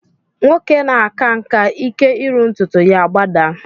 Nwoke na-aka nkà, ike iru ntụtụ ya agbadaa